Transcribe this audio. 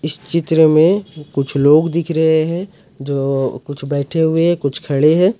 इस चित्र में कुछ लोग दिख रहे हैं जो कुछ बैठे हुए कुछ खड़े हैं।